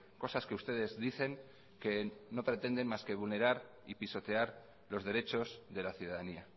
cosas que ustedes dicen que no pretenden más que vulnerar y pisotear los derechos de la ciudadanía